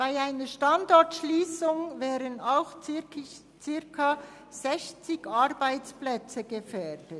Bei einer Standortschliessung wären auch circa 60 Arbeitsplätze gefährdet.